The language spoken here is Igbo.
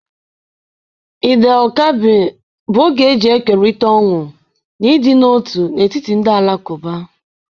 Eid el kadir bụ oge eji ekerịta ọṅụ na ịdị n'otu n'etiti ndị Alakụba.